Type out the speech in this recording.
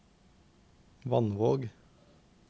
Vannvåg